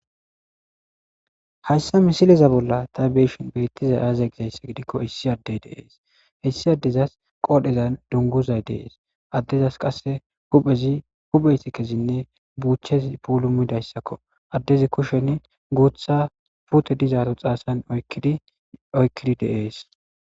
Hayssa misileza ta be7ishin beettizay aazee giikko issi addey deees .issi addezas qoodhezan dunguzay de7ees.addezas qasse huphezinne buuchchezi puulumidayssakko addezi kushen guutha puute oykkidi de7ees.